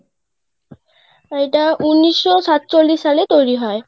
এটাউনিশশো সাতচল্লিশ সালে তৈরি হয়.